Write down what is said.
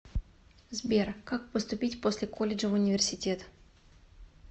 сбер как поступить после колледжа в университет